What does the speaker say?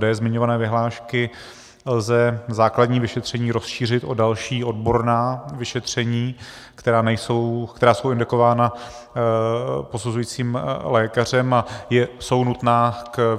d) zmiňované vyhlášky lze základní vyšetření rozšířit o další odborná vyšetření, která jsou indikována posuzujícím lékařem a jsou nutná k